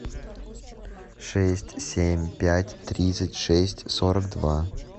шесть семь пять тридцать шесть сорок два